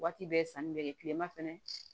Waati bɛɛ sanni bɛ kɛ kilema fɛnɛ fɛ